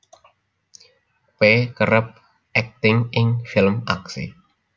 P kerep akting ing film aksi